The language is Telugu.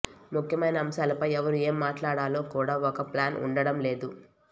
ముఖ్యమైన అంశాలపై ఎవరు ఏం మాట్లాడాలో కూడా ఒక ప్లాన్ ఉండడంలేదు